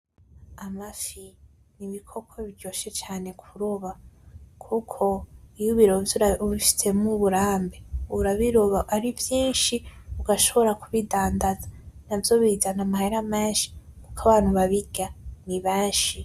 Amafi n'ibikoko biryoshe kuroba, kuko iyo ubirovye ubifisemwo uburambe ubiroba arivyinshi ugashobora kubidandaza, navyo bizana amahera menshi kuko abantu babirya ari benshi